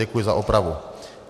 Děkuji za opravu.